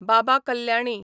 Baba Kalyani